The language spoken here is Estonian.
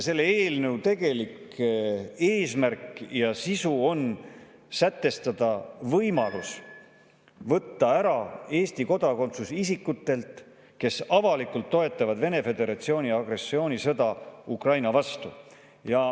" Selle eelnõu tegelik eesmärk ja sisu on sätestada võimalus võtta ära Eesti kodakondsus isikutelt, kes avalikult toetavad Vene Föderatsiooni agressioonisõda Ukraina vastu.